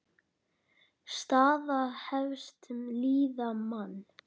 Staða efstu liða: Man.